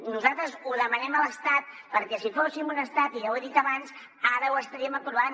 nosaltres ho demanem a l’estat perquè si fóssim un estat i ja ho he dit abans ara ho estaríem aprovant